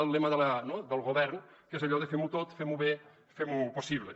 el lema del govern que és allò de fem ho tot femho bé fem ho possible